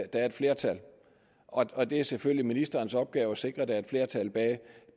der er et flertal og det er selvfølgelig ministerens opgave at sikre at der er et flertal bag